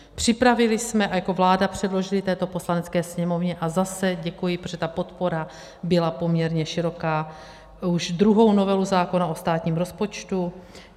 Připravili jsme a jako vláda předložili této Poslanecké sněmovně - a zase děkuji, protože ta podpora byla poměrně široká - už druhou novelu zákona o státním rozpočtu.